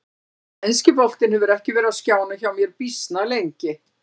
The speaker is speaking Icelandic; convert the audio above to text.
Þannig að enski boltinn hefur ekki verið á skjánum hjá mér býsna lengi.